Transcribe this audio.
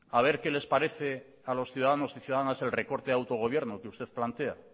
a ver qué les parece a los ciudadanos y ciudadanas el recorte de autogobierno que usted plantea